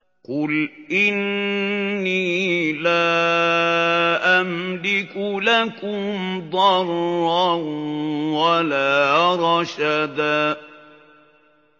قُلْ إِنِّي لَا أَمْلِكُ لَكُمْ ضَرًّا وَلَا رَشَدًا